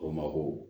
O mako